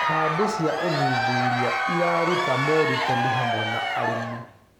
Kambĩ cĩa ũthũthũrĩa ĩrarũta morũtanĩ harĩ arĩmĩ